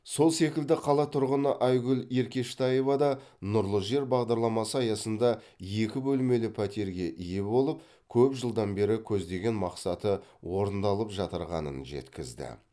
сол секілді қала тұрғыны айгүл еркештаева да нұрлы жер бағдарламасы аясында екі бөлмелі пәтерге ие болып көп жылдан бері көздеген мақсаты орындалып жатырғанын жеткізді